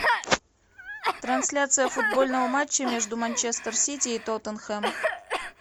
трансляция футбольного матча между манчестер сити и тоттенхэм